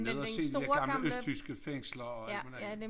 Ned og se de dér gamle østtyske fænglser og alt muligt andet